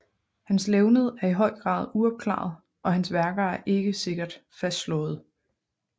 Hans levned er i høj grad uopklaret og hans værker er ikke sikkert fastslåede